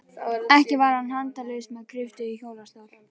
Ekki var hann handalaus með kryppu í hjólastól.